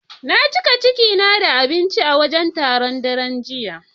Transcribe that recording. Na cika ciki na da abinci a wajen taron, daren jiya.